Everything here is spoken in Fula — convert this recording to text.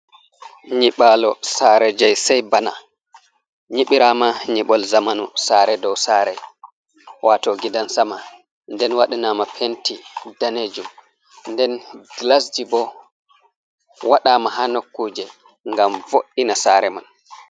Nyɓaalo saare jay say bana, nyiɓiraama nyib, ol zamanu, saare dow saare, waato gidan sama. Nden wadɗanama penti daneejum , nden gilasji boo waɗama haa nokkuuje ngam vo’’ina saare man.